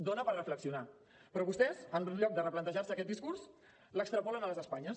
és per reflexionar hi però vostès en lloc de replantejar se aquest discurs l’extrapolen a les espanyes